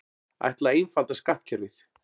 Ætla að einfalda skattkerfið